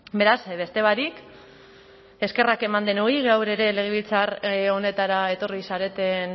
beraz beste barik eskerrak eman denoi gaur ere legebiltzar honetara etorri zareten